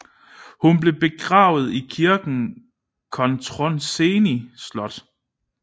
Hun blev begravet i kirken i Cotroceni Slot